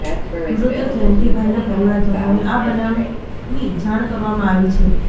મૃતક જયંતિભાઈના પરિજનોને આ બનાવની જાણ કરવામાં આવી છે